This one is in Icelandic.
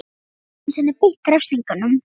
Hann gat ekki einu sinni beitt refsingum.